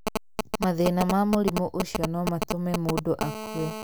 Mathĩna ma mũrimũ ũcio no matũme mũndũ akue.